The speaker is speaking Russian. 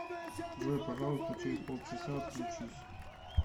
джой пожалуйста через полчаса отключись